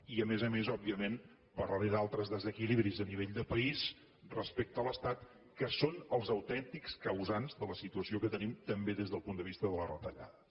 i a més a més òbviament parlaré d’altres desequilibris a nivell de país respecte a l’estat que són els autèntics causants de la situació que tenim també des del punt de vista de les retallades